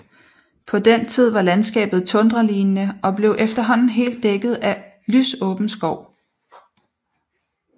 På den tid var landskabet tundralignende og blev efterhånden helt dækket af lysåben skov